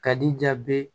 Ka di ja bɛɛ